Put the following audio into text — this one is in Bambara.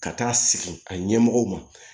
Ka taa sigi a ɲɛmɔgɔw ma